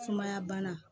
Sumaya bana